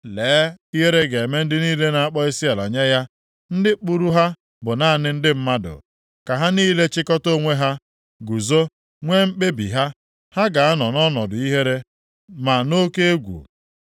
Lee ihere ga-eme ndị niile na-akpọ isiala nye ya. Ndị kpụrụ ha bụ naanị ndị mmadụ. Ka ha niile chịkọta onwe ha, guzo, nwee mkpebi ha, ha ga-anọ nʼọnọdụ nʼihere, na nʼoke egwu.